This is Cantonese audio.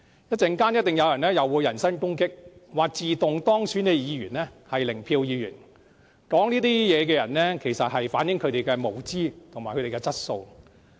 稍後一定會有人人身攻擊，說自動當選的議員是"零票議員"，說這些話的人不但反映他們的無知，更反映他們的質素。